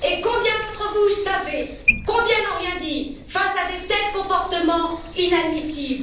Combien d'entre vous savaient? Combien n'ont rien dit face à de tels comportements inadmissibles?